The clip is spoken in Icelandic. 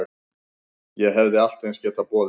Ég hefði allt eins getað boðið